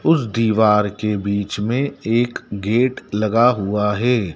उस दीवार के बीच में एक गेट लगा हुआ है।